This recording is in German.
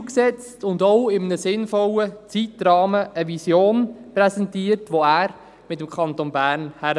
Er hat Ziele gesetzt und auch eine Vision mit einem sinnvollen Zeitrahmen präsentiert und gezeigt, wo er mit dem Kanton Bern hinwill.